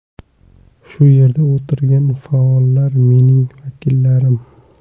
Shu yerda o‘tirgan faollar, mening vakillarim.